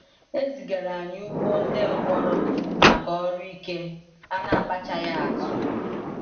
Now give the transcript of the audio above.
E zigara anyị ugbo ndi mkpọrọ maka ọrụ ike a na-akpachaghị atụ.